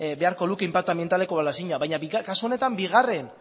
beharko luke inpaktu anbientaleko balorazioa baina kasu honetan bigarren